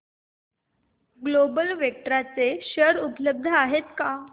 global Vectra चे share उपलब्ध आहेत का